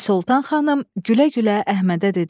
Pəri Soltan xanım gülə-gülə Əhmədə dedi: